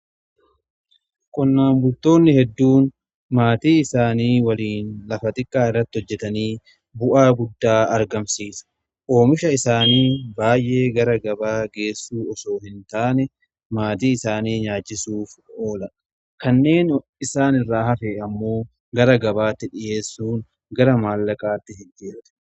qonnaan butoonni hedduun maatii isaanii waliin lafa xiqqaa irratti hojjetanii bu'aa guddaa argamsiisa oomisha isaanii baay'ee gara gabaa geessuu osoo hin taane maatii isaanii nyaachisuuf oola. kanneen isaan irraa hafe ammoo gara gabaatti dhiyeessuun gara maallaqaatti hin jijjiirratu.